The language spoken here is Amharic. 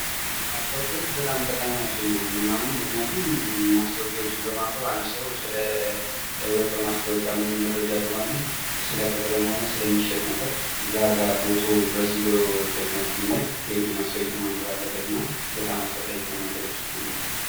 ማስታወቂያዎች በጣም ጠቃሚ ናቸው ብዬ ነው እኔ የማምነው ምክንያቱም ማስታወቂያዎችን በማንበብ አንድ ሰው ሙሉ መረጃ ስለ ቅጥር ሆነህ ስለሚሸጥ ነገር እዛጋ ቦታው ድረስ ሄዶ ማስታወቂያዎችን ማንበብ አለበት እና በጣም አስፈላጊ ነው።